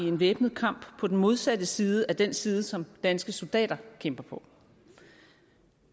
en væbnet kamp på den modsatte side af den side som danske soldater kæmper på